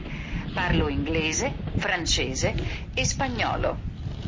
франчайзи эспаньола